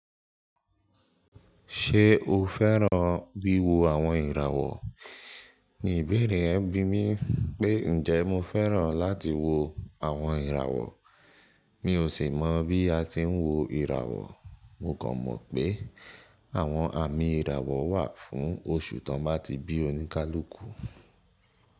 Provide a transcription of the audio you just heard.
Ṣé o fẹ́ràn bí wo àwọn ìràwọ̀? Nìbèèrè ẹbí mi pé njẹ mo fẹ́ràn láti wo àwọn ìràwọ̀. Mi ò sì mọ̀ bí a ti ń wo ìràwọ̀. Mo kàn mọ̀ pé àwọn àmì ìràwọ̀ wà fún oṣù tó bá ti bí oníkálukú.